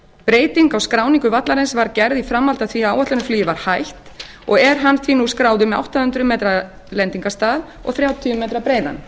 breyting á skráningu vallarins var gerð í framhaldi af því að áætlunarflugi var hætt og er hann því skráður með átta hundruð metra lendingarstað og þrjátíu metra